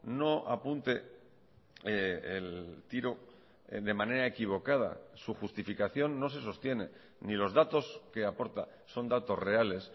no apunte el tiro de manera equivocada su justificación no se sostiene ni los datos que aporta son datos reales